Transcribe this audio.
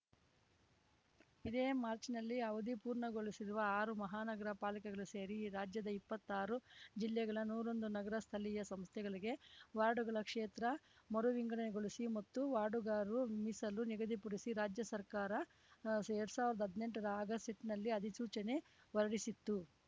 ಇದೇ ಮಾಚ್‌ರ್‍ನಲ್ಲಿ ಅವಧಿ ಪೂರ್ಣಗೊಳಿಸಿರುವ ಆರು ಮಹಾನಗರ ಪಾಲಿಕೆಗಳು ಸೇರಿ ರಾಜ್ಯದ ಇಪ್ಪತ್ತಾರು ಜಿಲ್ಲೆಗಳ ನೂರಾ ಒಂದು ನಗರ ಸ್ಥಳೀಯ ಸಂಸ್ಥೆಗಳಿಗೆ ವಾರ್ಡ್‌ಗಳ ಕ್ಷೇತ್ರ ಮರು ವಿಂಗಡಣೆಗೊಳಿಸಿ ಮತ್ತು ವಾರ್ಡ್‌ಗಾರು ಮೀಸಲು ನಿಗದಿಪಡಿಸಿ ರಾಜ್ಯ ಸರ್ಕಾರ ಎರಡ್ ಸಾವಿರ್ದಾ ಹದ್ನೆಂಟರ ಆಗಸೆಟ್ನಲ್ಲಿ ಅಧಿಸೂಚನೆ ಹೊರಡಿಸಿತ್ತು